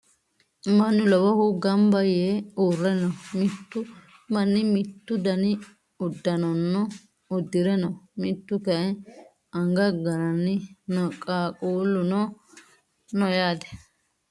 Mannu lowohu gamba yee uurre no. Mitu manni mittu dani uddanono uddire no. Mituu kayii anga gananni no. Qaaqqulluno no.